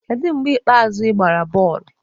Kedu mgbe ikpeazụ ị gbara bọọlụ?